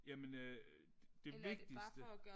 Jamen øh det vigtigste